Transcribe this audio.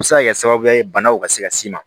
A bɛ se ka kɛ sababu ye banaw ka se ka s'i ma